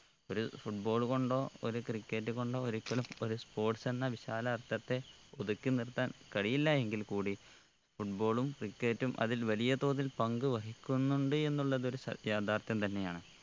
ഒരു football കൊണ്ടോ ഒരു cricket കൊണ്ടോ ഒരിക്കലും ഒരു sports എന്ന വിശാല അർത്ഥത്തെ ഒതുക്കി നിർത്താൻ കഴിയില്ല എങ്കിൽ കൂടി foot ball ഉം cricket ഉം അതിൽ വലിയ തോതിൽ പങ്ക് വഹിക്കുന്നുണ്ട് എന്നുള്ളത് ഒര് സ യാഥാർഥ്യം തന്നെയാണ്